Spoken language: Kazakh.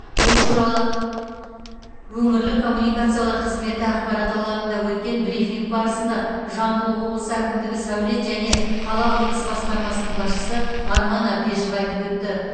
бұл туралы өңірлік коммуникациялар қызметі ақпарат алаңында өткен брифинг барысында жамбыл облысы әкімдігі сәулет және қала құрылысы басқармасының басшысы арман әбдешов айтып өтті